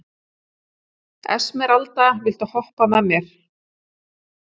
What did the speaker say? Esmeralda, viltu hoppa með mér?